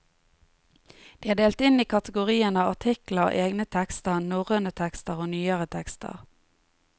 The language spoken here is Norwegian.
De er delt inn i kategoriene artikler, egne tekster, norrøne tekster, og nyere tekster.